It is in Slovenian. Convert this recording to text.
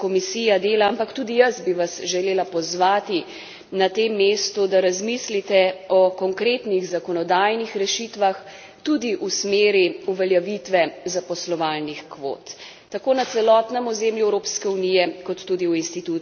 Ampak tudi jaz bi vas želela pozvati na tem mestu, da razmislite o konkretnih zakonodajnih rešitvah, tudi v smeri uveljavitve zaposlovalnih kvot, tako na celotnem ozemlju Evropske unije kot tudi v institucijah Evropske unije.